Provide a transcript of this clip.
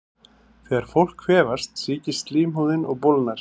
Þegar fólk kvefast sýkist slímhúðin og bólgnar.